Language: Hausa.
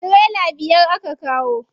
Tirela biyar aka kawo.